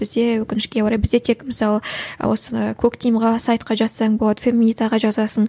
бізде өкінішке орай бізде тек мысалы осы коктимге сайтқа жазсаң болады феминитаға жазасың